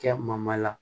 Kɛ ma la